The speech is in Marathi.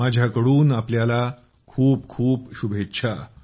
माझ्या कडून आपल्याला खूप खूप शुभेच्छा